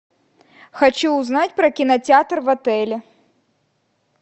хочу узнать про кинотеатр в отеле